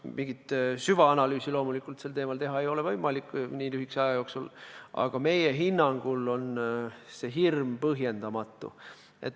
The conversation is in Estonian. Mingit süvaanalüüsi sel teemal nii lühikese aja jooksul loomulikult teha ei ole võimalik, aga meie hinnangul on see hirm põhjendamatu.